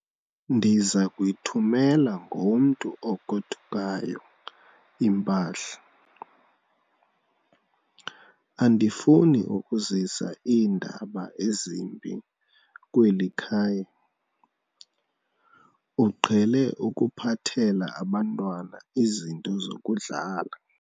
Ndiza kuyithumela ngomntu ogodukayo impahla. andifuni ukuzisa iindaba ezimbi kweli khaya, uqhele ukuphathela abantwana izinto zokudlala